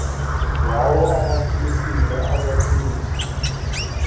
yawo amaxesibe akathethi